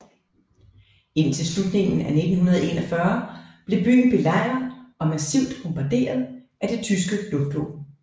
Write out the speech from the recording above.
Indtil slutningen af 1941 blev byen belejret og massivt bombaderet af det tyske luftvåben